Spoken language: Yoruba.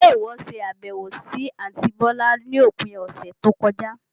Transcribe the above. Ṣe ìwọ ṣe àbẹ̀wò sì àntí bọ̀lá lópin ọ̀sẹ̀ tó kọjá?